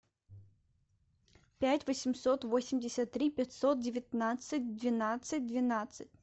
пять восемьсот восемьдесят три пятьсот девятнадцать двенадцать двенадцать